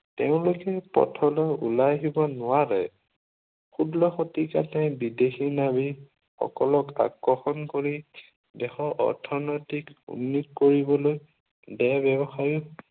তেওঁলোকে পথলৈ ওলাই আহিব নোৱাৰে। ষোল্ল শতিকাতে বিদেশী নৱিশ সকলক আকৰ্ষণ কৰি দেশৰ অৰ্থনৈতিক উন্নোত কৰিবলৈ দেহ ব্য়ৱসায়ত